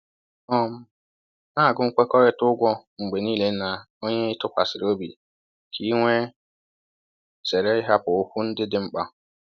um Na-agụ nkwekọrịta ụgwọ mgbe niile na onye ị tụkwasịrị obi ka i wee zere ịhapụ okwu ndị dị mkpa